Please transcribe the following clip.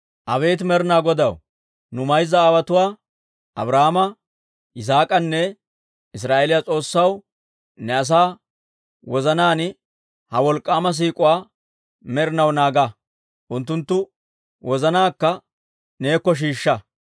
Abeet Med'inaa Godaw, nu mayza aawotuwaa Abrahaama, Yisaak'anne Israa'eeliyaa S'oossaw, ne asaa wozanaan ha wolk'k'aama siik'uwaa med'inaw naaga; unttunttu wozanaakka neekko shiishsha.